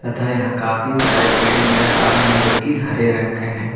तथा यहां काफी सारे पेड़ नजर आ रहे हैं जो की हरे रंग के हैं।